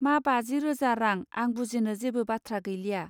मा! बाजि रोजा रां आं बुजिनो जेबो बाथ्रा गैलिया.